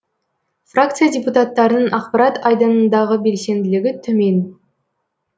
фракция депутаттарының ақпарат айдынындағы белсенділігі төмен